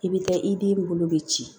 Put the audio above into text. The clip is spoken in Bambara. I bɛ taa i den bolo bɛ ci